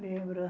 Lembro.